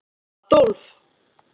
Adólf